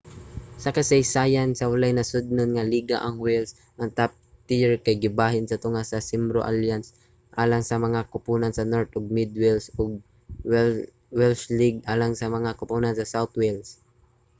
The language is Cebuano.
sa kasaysayan walay nasodnon nga liga ang wales. ang top tier kay gibahin sa tunga sa cymru alliance alang sa mga koponan sa north ug mid wales ug ang welsh league alang sa mga koponan sa south wales